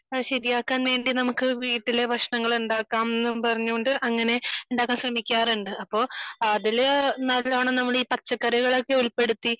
അത് ശരിയാക്കാൻ വേണ്ടി നമുക്ക് വീട്ടിലെ ഭക്ഷണങ്ങൾ ഉണ്ടാക്കാം എന്ന് പറഞ്ഞുകൊണ്ട് അങ്ങനെ ഉണ്ടാക്കാൻ ശ്രമിക്കാറുണ്ട് . അതില് നല്ലോണം നമ്മൾ പച്ചക്കറികൾ നല്ലോണം ഒക്കെ ഉൾപ്പെടുത്തി